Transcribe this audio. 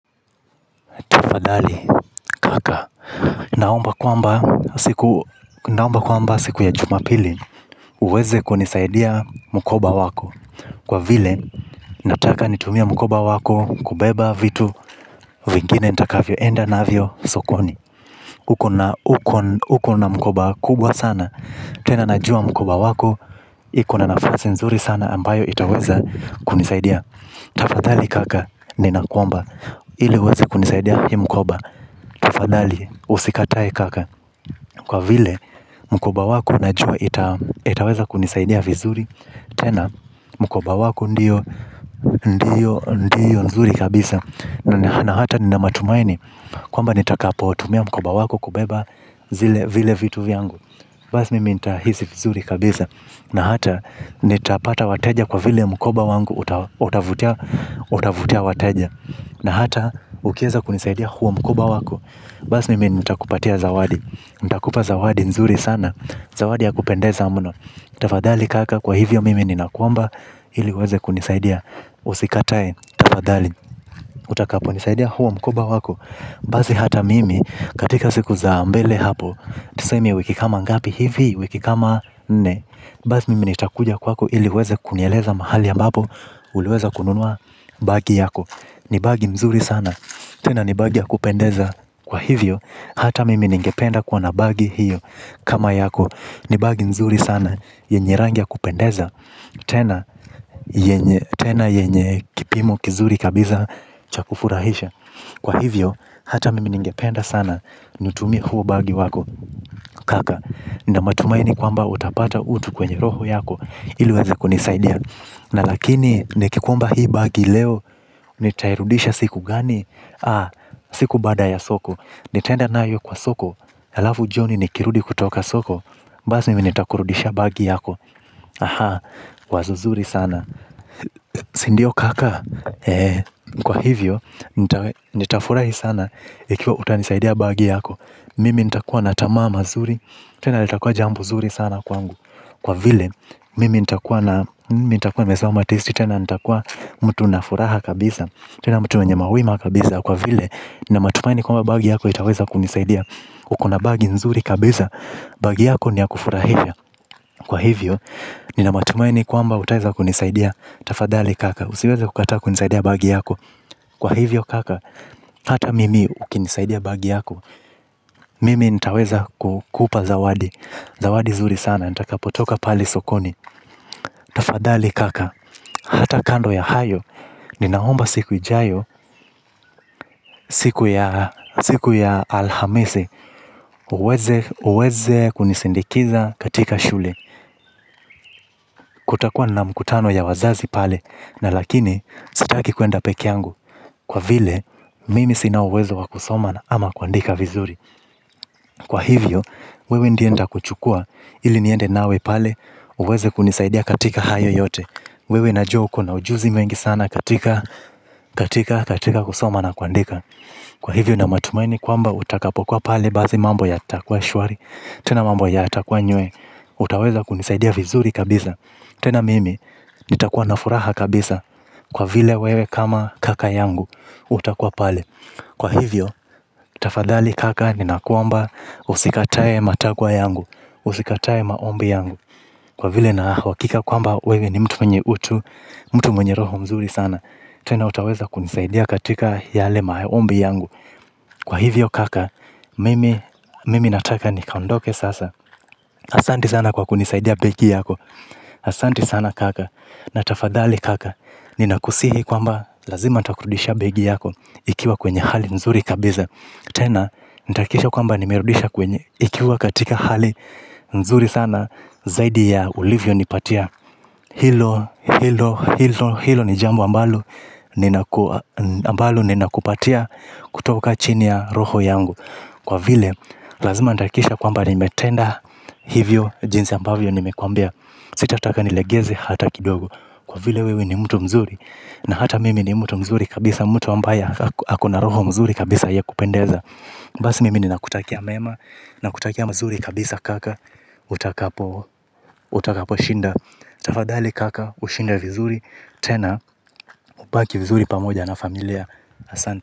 Tafadhali kaka, naomba kwamba siku ya jumapili uweze kunisaidia mkoba wako. Kwa vile nataka nitumie mkoba wako kubeba vitu vingine nitakavyo enda navyo sokoni. Uko na mkoba kubwa sana, tena najua mkoba wako, iko na nafasi nzuri sana ambayo itaweza kunisaidia. Tafadhali kaka, ninakuomba, ili uweze kunisaidia hii mkoba. Tafadhali usikatae kaka. Kwa vile mkoba wako najua itaweza kunisaidia vizuri. Tena mkoba wako ndiyo ndiyo ndiyo nzuri kabisa. Na hata nina matumaini kwamba nitakapotumia mkoba wako kubeba zile vile vitu vyangu. Basi mimi nitahisi vizuri kabisa. Na hata nitapata wateja kwa vile mkoba wangu utavutia wateja na hata ukieza kunisaidia huo mkoba wako basi mimi nitakupatia zawadi nitakupa zawadi nzuri sana zawadi ya kupendeza mno tafadhali kaka kwa hivyo mimi ninakuomaba. Hili uweze kunisaidia. Usikatae, tafadhali. Utakapo nisaidia huo mkoba wako. Basi hata mimi katika siku za mbele hapo. Tuseme wiki kama ngapi hivi, wiki kama nne. Basi mimi nitakuja kwako hili uweze kunieleza mahali ambapo uliweza kununua bagi yako. Ni bagi mzuri sana. Tena ni bagi ya kupendeza. Kwa hivyo, hata mimi ningependa kuwa na bagi hiyo. Kama yako, ni bagi nzuri sana yenye rangi ya kupendeza. Tena yenye kipimo kizuri kabisa cha kufurahisha. Kwa hivyo, hata mimi ningependa sana nitumie huo bagi wako. Kaka nina matumaini kwamba utapata utu kwenye roho yako ili uweze kunisaidia. Na lakini, nikikuomba hii bagi leo, nitairudisha siku gani? Aa, siku baada ya soko. Nitaenda nayo kwa soko, halafu jioni nikirudi kutoka soko. Basi, mimi nitakurudishia bagi yako. Aha, wazo zuri sana. Sindio kaka, kwa hivyo, nitafurahi sana, ikiwa utanisaidia bagi yako. Mimi nitakua na tamaa mazuri, tena litakua jambo zuri sana kwangu. Kwa vile, mimi nitakuwa na, mimi nitakuwa nimesoma testi tena nitakuwa mtu nina furaha kabisa, tena mtu mwenye wima kabisaa kwa vile nina matumaini kwamba bagi yako itaweza kunisaidia uko na bagi nzuri kabisa bagi yako ni ya kufurahia kuwa na, mimi nita kuwa na, mimi nita kuwa na, mimi nita kuwa na, mimi nita kuwa na, mimi nita kuwa na, mimi nita kuwa na, mimi nita kuwa na, mimi nita kuwa na, mimi nita kuwa na, mimi nita kuwa na, mimi nitaweza kukupa zawadi zawadi nzuri sana nitakapotoka pale sokoni. Tafadhali kaka. Hata kando ya hayo nina omba siku ijayo. Siku ya alhamisi uweze kunisindikiza katika shule kutakuwa na mkutano ya wazazi pale na lakini sitaki kwenda peke yangu kwa vile mimi sina uwezo wa kusoma ama kuandika vizuri kwa hivyo. Wewe ndiye nitakuchukua. Ili niende nawe pale. Uweze kunisaidia katika hayo yote. Wewe najua uko na ujuzi mwingi sana katika katika, katika kusoma na kuandika. Kwa hivyo nina matumaini kwamba utakapokuwa pale basi mambo yatakua shwari. Tena mambo yatakua nywee. Utaweza kunisaidia vizuri kabisa. Tena mimi, nitakuwa na furaha kabisa. Kwa vile wewe kama kaka yangu. Utakuwa pale. Kwa hivyo, tafadhali kaka ninakuomba. Usikatae matakwa yangu. Usikatae maombi yangu. Kwa vile nina uhakika kwamba wewe ni mtu mwenye utu. Mtu mwenye roho mzuri sana. Tena utaweza kunisaidia katika yale maombi yangu. Kwa hivyo kaka, mimi nataka nikaondoke sasa. Asanti sana kwa kunisaidia begi yako. Asanti sana kaka, na tafadhali kaka. Ninakusihi kwamba, lazima nitakurudisha begi yako. Ikiwa kwenye hali nzuri kabisa tena, nitahakikisha kwamba nimerudisha kwenye ikiwa katika hali nzuri sana. Zaidi ya ulivyonipatia. Hilo, hilo, hilo, hilo ni jambo ambalo ambalo ninakupatia kutoka chini ya roho yangu. Kwa vile, lazima nitahakikisha kwamba nimetenda hivyo jinsi ambavyo nimekuambia. Sita taka nilegeze hata kidogo. Kwa vile wewe ni mtu mzuri. Na hata mimi ni mtu mzuri kabisa mtu ambaye ako na roho mzuri kabisa ya kupendeza. Basi mimi ninakutakia mema. Nakutakia mazuri kabisa kaka utakaposhinda. Tafadhali kaka ushinda vizuri. Tena ubaki vizuri pamoja na familia. Asante.